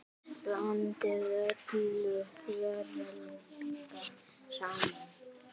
Blandið öllu varlega saman.